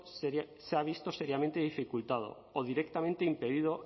se ha visto seriamente dificultado o directamente impedido